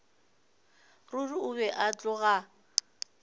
ruri o be a tloga